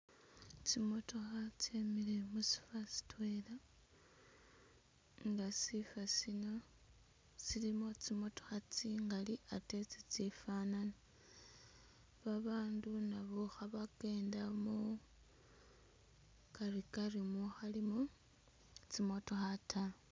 Tsimotokha tsemile musifo sitwela nga'sifosino silimo tsimotokha tsingali atee tsitsifanana abandunabo khabakenda mukarikari mukhalimo tsimotokha taa